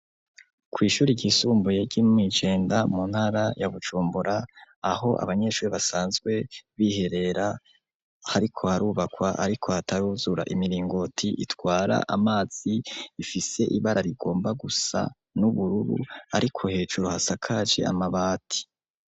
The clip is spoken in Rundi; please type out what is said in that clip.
kw' ishuri ryisumbuye ryo mw' Ijenda mu ntara ya Bujumbura, aho abanyeshuri basanzwe biherera hariko harubakwa ariko hataruzura. Imiringoti itwara amazi ifise ibara rigomba gusa n'ubururu, ariko hejuru hasakaje amabati.